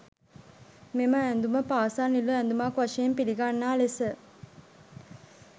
මෙම ඇඳුම පාසල් නිල ඇඳුමක් වශයෙන් පිළිගන්නා ලෙස